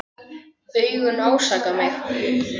Augun ásaka mig.